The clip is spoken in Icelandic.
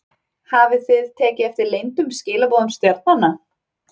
Hafið þið tekið eftir leyndum skilaboðum stjarnanna?